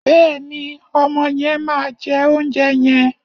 Bẹ́ẹ̀ni, ọmọ yẹn máa jẹ oúnjẹ yẹn.